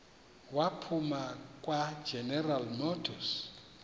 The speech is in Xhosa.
waphuma kwageneral motors